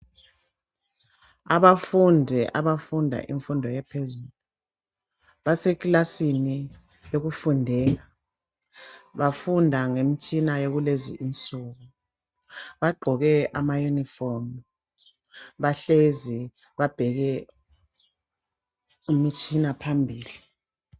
Abafundi abafunda imfundo ephezulu. Baseklasini yokufundela. Bafunda ngemtshina yakulezi insuku. Bagqoke amayunifomu. Bahlezi babheke imitshina phambili.